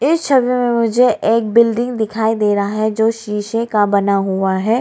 इस समय में मुझे एक बिल्डिंग दिखाई दे रहा है जो शीशे का बना हुआ है।